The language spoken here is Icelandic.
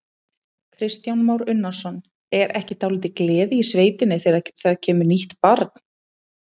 Kristján Már Unnarsson: Er ekki dálítil gleði í sveitinni þegar það kemur nýtt barn?